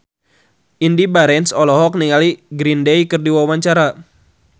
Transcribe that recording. Indy Barens olohok ningali Green Day keur diwawancara